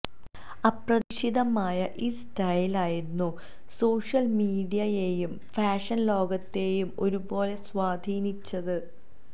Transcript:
അപ്രതീക്ഷിതമായ ഈ സ്റ്റൈൽ ആയിരുന്നു സോഷ്യൽ മീഡിയയെയും ഫാഷൻ ലോകത്തെയും ഒരു പോലെ സ്വാധീനിച്ചത്